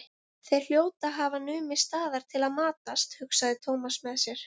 Þeir hljóta að hafa numið staðar til að matast, hugsaði Thomas með sér.